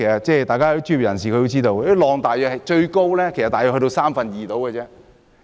專業人士應該知道，最高應是水深約三分之二。